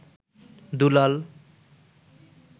দুলাল